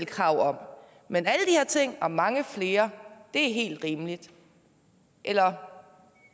krav og mange flere er helt rimelige eller